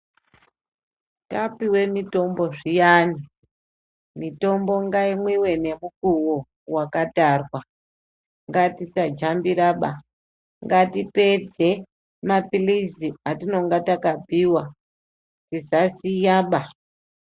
Tapiwe mutombo zviyani, mutombo ngaumwiwe nemukuwo yakatarwa ngatisanambira ba, ngatipedze mapilizi atinenge takapuwa, tisasiya baa.